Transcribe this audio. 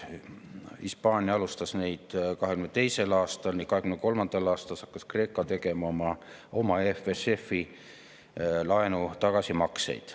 Hispaania alustas neid 2022. aastal ning 2023. aastal hakkas Kreeka tegema oma EFSF‑i laenu tagasimakseid.